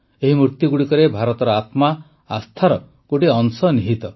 ଏହି ମୂର୍ତ୍ତିଗୁଡ଼ିକରେ ଭାରତର ଆତ୍ମା ଆସ୍ଥାର ଗୋଟିଏ ଅଂଶ ନିହିତ